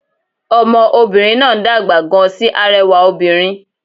Ọmọ obìnrin náà ń dàgbà gan sí arẹwà obìnrin